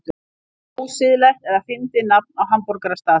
Ósiðlegt eða fyndið nafn á hamborgarastað